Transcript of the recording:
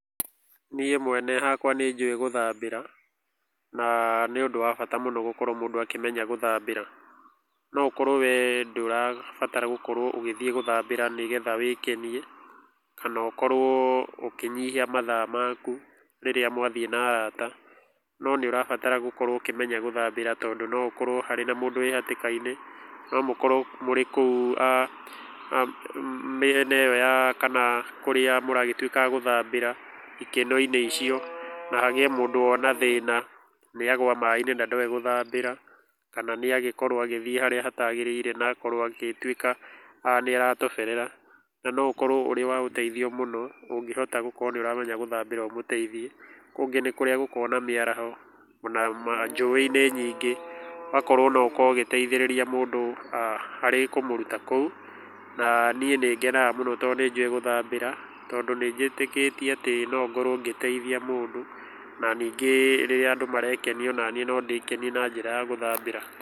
Niĩ mwene hakwa nĩ njũĩ gũthambĩra, na nĩ ũndũ wa bata mũno gũkorwo mũndũ akĩmenya gũthambĩra. No ũkorwo we ndũrabatara gũkorwo ũgĩthiĩ gũthambĩra nĩgetha wĩkenie, kana ũkorwo ũkĩnyihia mathaa maku rĩrĩa mwathiĩ na araata. No nĩ ũrabatara gũkorwo ũkĩmenya gũthambĩra tondũ no ũkorwo harĩ na mũndũ wĩ hatĩka-inĩ, no mũkorwo mũrĩ kũu mĩena ĩyo kana kũrĩa mũragĩtuĩka a gũthambĩra ikeno-inĩ icio, na hagĩe mũndũ wona thĩna. Nĩ agũa maĩ-inĩ na ndoĩ gũthambĩra, kana nĩ agĩkorwo harĩa hatagĩrĩire na akorwo agĩtuĩka nĩ atoberera. Na no ũkorwo ũrĩ wa ũteithio mũno, ũngĩhota gũkorwo nĩ ũramenya gũthambĩra ũmũteithie. Ũngĩ nĩ kũrĩa gũkoragwo na mĩaraho, ona njũĩ-inĩ nyingĩ, ũgakorwo no ũkorwo ũgĩteithĩrĩria mũndũ aah harĩ kũmũruta kũu. Na niĩ nĩ ngenaga mũno tondũ nĩ njũĩ gũthambĩra, na nĩ njĩtĩkĩtie atĩ no ngorwo ngĩteithia mũndũ, na ningĩ rĩrĩa andũ marekenia o naniĩ no ndĩkenie na njĩra ya gũthambĩra.